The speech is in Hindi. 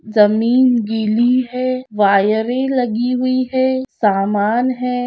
जमीन गीली है वायरे लगी हुई है सामान है।